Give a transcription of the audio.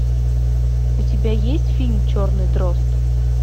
у тебя есть фильм черный дрозд